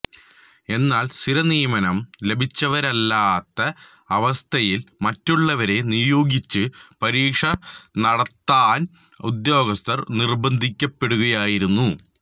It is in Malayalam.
എന്നാല് സ്ഥിരനിയമനം ലഭിച്ചവരില്ലാത്ത അവസ്ഥയില് മറ്റുള്ളവരെ നിയോഗിച്ച് പരീക്ഷനടത്താന് ഉദ്യോഗസ്ഥര് നിര്ബന്ധിക്കപ്പെടുകയായിരുന്നു